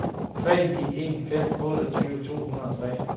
tre ni en fem otteogtyve to hundrede og tre